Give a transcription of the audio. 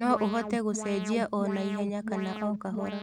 No ũhote gũcenjia o na ihenya kana o kahora.